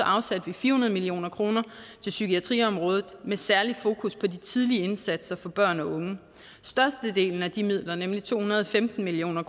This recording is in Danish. afsatte fire hundrede million kroner til psykiatriområdet med et særligt fokus på de tidlige indsatser for børn og unge størstedelen af de midler nemlig to hundrede og femten million